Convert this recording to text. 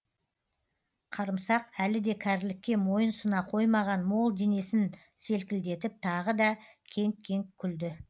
қарымсақ әлі де кәрілікке мойын сұна қоймаған мол денесін селкілдетіп тағы да кеңк кеңк күлді